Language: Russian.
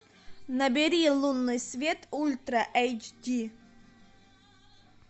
набери лунный свет ультра эйч ди